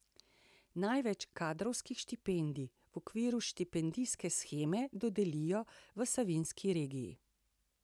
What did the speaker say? Največ kadrovskih štipendij v okviru štipendijske sheme dodelijo v Savinjski regiji.